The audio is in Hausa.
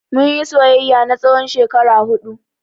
Mun yi soyayya na tsawon shekara huɗu.